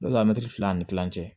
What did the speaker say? La mɛtiri fila ani kilancɛ